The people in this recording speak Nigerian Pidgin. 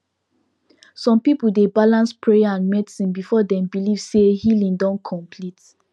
some people dey balance prayer and medicine before dem believe say healing don complete